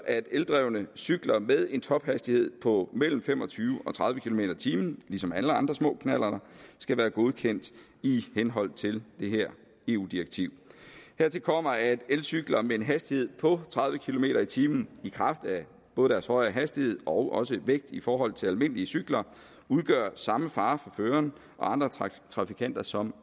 at eldrevne cykler med en tophastighed på mellem fem og tyve og tredive kilometer per time ligesom alle andre små knallerter skal være godkendt i henhold til det her eu direktiv hertil kommer at elcykler med en hastighed på tredive kilometer per time i kraft af både deres højere hastighed og også vægt i forhold til almindelige cykler udgør samme fare for føreren og andre trafikanter som